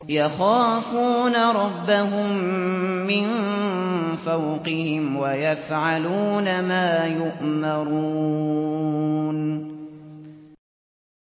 يَخَافُونَ رَبَّهُم مِّن فَوْقِهِمْ وَيَفْعَلُونَ مَا يُؤْمَرُونَ ۩